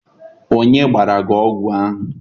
Onye gbara gị ogwu ahụ?